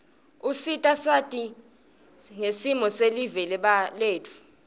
usita sati ngsimo selive letfu